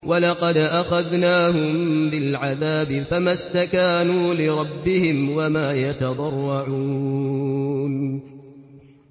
وَلَقَدْ أَخَذْنَاهُم بِالْعَذَابِ فَمَا اسْتَكَانُوا لِرَبِّهِمْ وَمَا يَتَضَرَّعُونَ